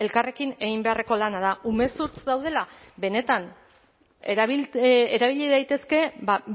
elkarrekin egin beharreko lana da umezurtz daudela benetan erabili daitezke